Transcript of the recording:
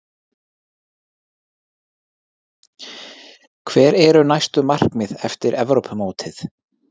Hver eru næstu markmið eftir Evrópumótið?